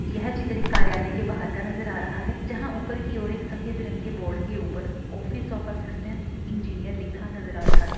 यह चित्र एक कार्यालय के बाहर का नज़र आ रहा है जहा ऊपर की और एक सफ़ेद रंग के बोर्ड के ऊपर ऑफिस ओफ असिस्टेंट इंजिनियर लिखा नज़र आ रहा है।